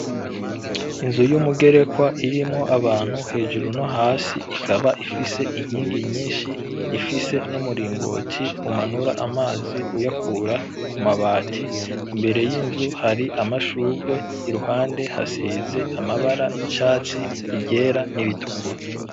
Inzu y'umugerekwa irimwo abantu hejuru no hasi ikaba ifise inkingi nyinshi ifise n'umuringoti umanura amazi uyakura ku mabati, imbere y'inzu hari amashurwe iruhande hasize amabara y'icatsi, iryera n'iritukura.